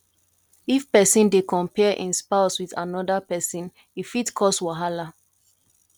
if pesin dey compare em spouse with anoda pesin e fit cos wahala